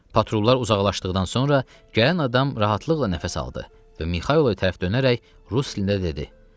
Patrullar uzaqlaşdıqdan sonra gələn adam rahatlıqla nəfəs aldı və Mixaylova tərəf dönərək rus dilində dedi: